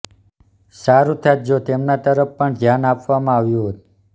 સારુ થાત જો તેમના તરફ પણ ધ્યાન આપવામાં આવ્યું હોત